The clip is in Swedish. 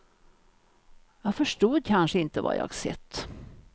Jag förstod kanske inte vad jag sett.